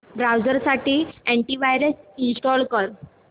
browser साठी antivirus install कर